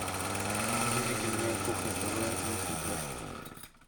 выведи мне кухня тв на смотрешке